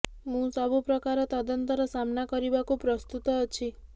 ମୁଁ ସବୁ ପ୍ରକାର ତଦନ୍ତର ସାମ୍ନା କରିବାକୁ ପ୍ରସ୍ତୁତ ଅଛି